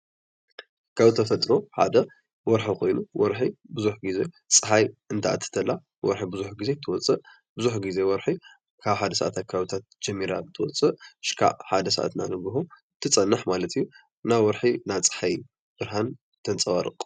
ካብ ተፈጥሮ ሓደ ወርሒ ኮይኑ ወርሒ ብዙሕ ጊዜ ፀሓይ እንትኣቱ ተላ ብዙሕ ጊዜ ትወፅእ ብዙሕ ጊዜ ወርሒ ካብ ሓደ ሰዓት ኣከባቢት ጀሚራ ትወፅእ ክሳዕ ሓደ ሰዓት ናይ ንጎሆ ትፀንሕ ማለት እዩ፡፡ እና ወርሒ ናይ ፀሓይ ብርሃን ተንፀባርቕ፡፡